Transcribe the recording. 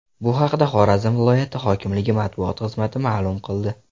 Bu haqda Xorazm viloyati hokimligi matbuot xizmati ma’lum qildi .